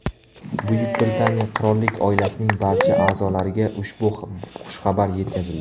Buyuk Britaniya Qirollik oilasining barcha a’zolariga ushbu xushxabar yetkazildi.